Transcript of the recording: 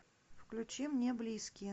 включи мне близкие